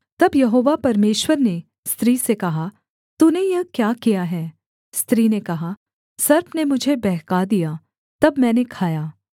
तब यहोवा परमेश्वर ने स्त्री से कहा तूने यह क्या किया है स्त्री ने कहा सर्प ने मुझे बहका दिया तब मैंने खाया